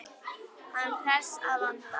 Hann hress að vanda.